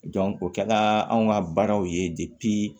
o kɛla anw ka baaraw ye